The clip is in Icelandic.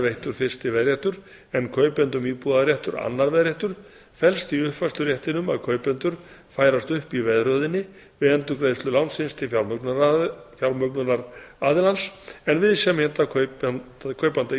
veittur fyrsti veðréttur en kaupendum íbúðarréttar annar veðréttur felst í uppfærsluréttinum að kaupendur færast upp í veðröðinni við endurgreiðslu lánsins til fjármögnunaraðilans en viðsemjanda kaupanda